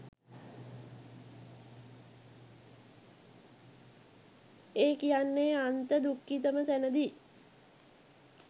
ඒ කියන්නෙ අන්ත දුක්ඛිතම තැනදි